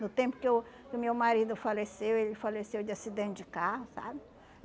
No tempo que eu que o meu marido faleceu, ele faleceu de acidente de carro, sabe?